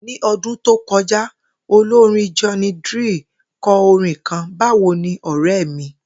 Ní o̩dún tó ko̩já, olorín Johnny Drille ko̩ orin kan ‘Báwo ni ò̩ré̩ mi’